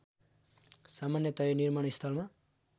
सामान्यतया निर्माणस्थलमा